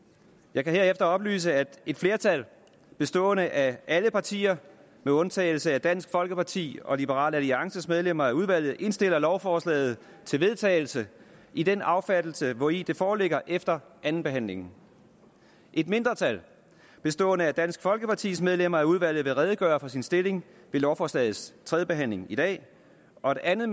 jeg kan herefter oplyse at et flertal bestående af alle partier med undtagelse af dansk folkepartis og liberal alliances medlemmer af udvalget indstiller lovforslaget til vedtagelse i den affattelse hvori det foreligger efter andenbehandlingen et mindretal bestående af dansk folkepartis medlemmer af udvalget vil redegøre for sin stilling ved lovforslagets tredje behandling i dag og et andet